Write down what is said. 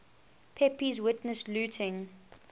pepys witnessed looting